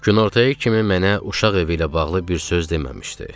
Günortaya kimi mənə uşaq evi ilə bağlı bir söz deməmişdi.